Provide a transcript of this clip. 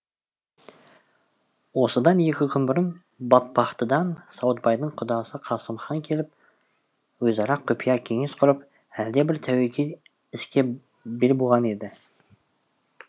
осыдан екі күн бұрын батпақтыдан сауытбайдың құдасы қасымхан келіп өзара құпия кеңес құрып әлдебір тәуекел іске бел буған еді